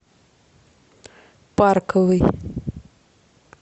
парковый